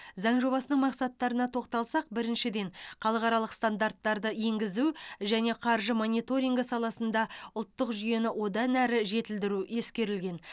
заң жобасының мақсаттарына тоқталсақ біріншіден халықаралық стандарттарды енгізу және қаржы мониторингі саласында ұлттық жүйені одан әрі жетілдіру ескерілген